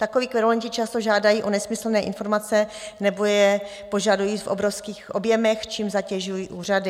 Takoví kverulanti často žádají o nesmyslné informace nebo je požadují v obrovských objemech, čímž zatěžují úřady.